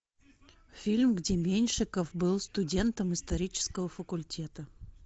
фильм где меньшиков был студентом исторического факультета